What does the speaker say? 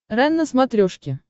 рен на смотрешке